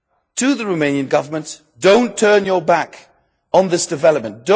to the Romanian Government do not turn your back on this development.